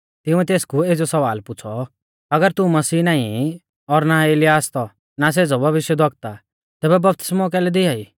तिंउऐ तेसकु एज़ौ सवाल पुछ़ौ अगर तू मसीह नाईं ई और ना एलियाह आसतौ ना सेज़ौ भविष्यवक्ता तैबै बपतिस्मौ कैलै दिआई